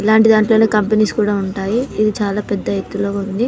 ఇలాంటి దాంట్లోనే కొంపెనీస్ కూడా ఉంటాయి ఇది చాలా పెద్ద ఎత్తులో ఉంది.